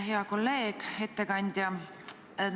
Hea kolleeg, ettekandja!